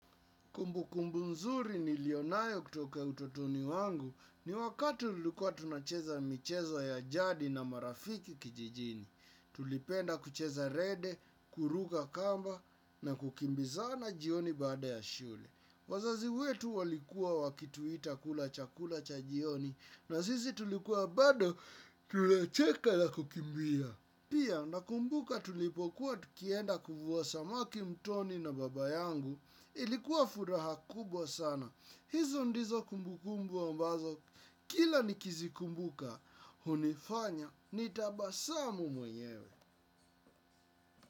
Kumbu kumbu mzuri nilionayo kutoka utotoni mwangu ni wakatui tulikuwa tunacheza michezo ya jadi na marafiki kijijini. Tulipenda kucheza rede, kuruka kamba na kukimbizana jioni bada ya shule. Wazazi wetu walikuwa wakituita kula chakula cha jioni na sisi tulikuwa bado tunacheka na kukimbia. Pia na kumbuka tulipokuwa tukienda kufuwa samaki mtoni na baba yangu ilikuwa furaha kubwa sana. Hizo ndizo kumbukumbu ambazo kila nikizikumbuka hunifanya nitabasamu mwenyewe.